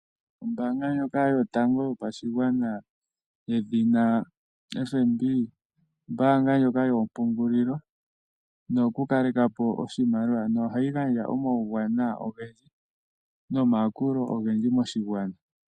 Ombaanga ndjoka yotango yopashigwana yedhina FNB, ombaanga ndjoka yoompungulilo noyo ku kale kapo oshimaliwa, no hayi gandja omawuwanawa ogendji nomayakulo ogendji moshigwana.